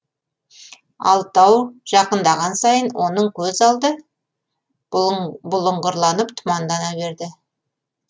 алтау жақындаған сайын оның көз алды бұлыңғырланып тұмандана берді